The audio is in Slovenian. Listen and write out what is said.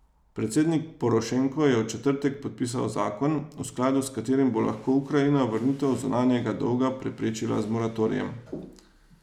Predsednik Porošenko je v četrtek podpisal zakon, v skladu s katerim bo lahko Ukrajina vrnitev zunanjega dolga preprečila z moratorijem.